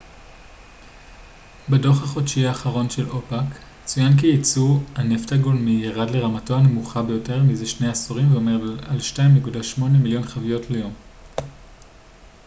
בדו ח החודשי האחרון של אופ ק צוין כי ייצוא הנפט גולמי ירד לרמתו הנמוכה ביותר מזה שני עשורים ועומד על 2.8 מיליון חביות ליום